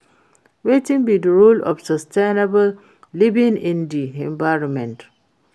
Wetin be di role of sustainable living in di environment?